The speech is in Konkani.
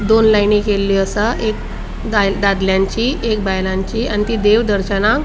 दोन लाइनी केल्ली आसा एक दा दादल्याची एक बायलांची आणि ती देव दर्शना.